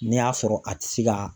N'i y'a sɔrɔ a ti se ka